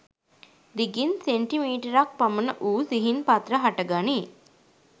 දිගින් සෙන්ටිමීටරක් පමණ වූ සිහින් පත්‍ර හටගනී.